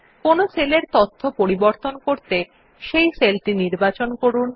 কোনো সেল এর তথ্য পাল্টাতে সেই সেলটি নির্বাচন করুন